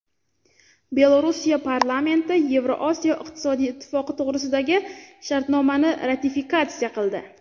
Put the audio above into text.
Belorussiya parlamenti Yevroosiyo iqtisodiy ittifoqi to‘g‘risidagi shartnomani ratifikatsiya qildi.